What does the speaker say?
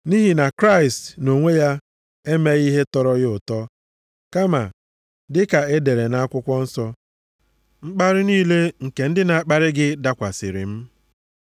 Nʼihi na Kraịst nʼonwe ya emeghị ihe tọrọ ya ụtọ, kama dịka e dere ya nʼakwụkwọ nsọ, “Mkparị niile nke ndị na-akparị gị dakwasịrị m!” + 15:3 \+xt Abụ 69:9\+xt*